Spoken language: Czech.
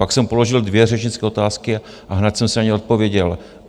Pak jsem položil dvě řečnické otázky a hned jsem si na ně odpověděl.